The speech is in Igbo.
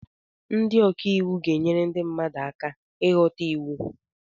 Ndị ọka iwu ga-enyere ndị mmadụ aka ịghọta iwu